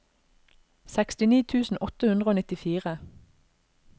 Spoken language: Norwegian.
sekstini tusen åtte hundre og nittifire